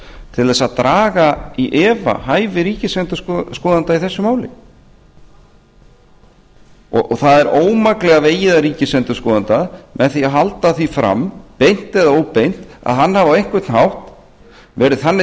til þess að draga í efa hæfi ríkisendurskoðanda í þessu máli það er ómaklega vegið að ríkisendurskoðanda með því að halda því fram beint eða óbeint að hann hafi á einhvern hátt verið þannig